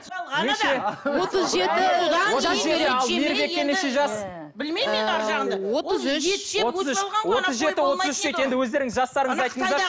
білмеймін енді арғы жағында енді өздеріңіздің жастарыңызды айтыңыздаршы